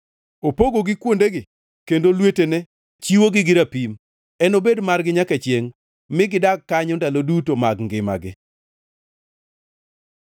Opogogi kuondegi; kendo lwetene chiwogi gi rapim. Enobed margi nyaka chiengʼ mi gidag kanyo ndalo duto mag ngimagi.